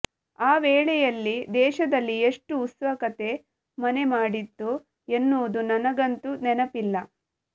ಆ ವೇಳೆಯಲ್ಲಿ ದೇಶದಲ್ಲಿ ಎಷ್ಟು ಉತ್ಸುಕತೆ ಮನೆಮಾಡಿತ್ತು ಎನ್ನುವುದು ನನಗಂತೂ ನೆನಪಿಲ್ಲ